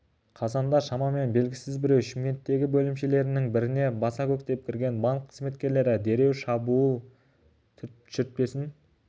қазанда шамамен белгісіз біреу шымкенттегі бөлімшелерінің біріне баса көктеп кірген банк қызметкерлері дереу дабыл шүртпесін